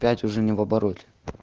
пять уже не в обороте